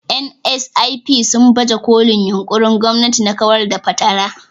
(NSIP) sun baje kolin yunƙurin gwamnati na kawar da fatara.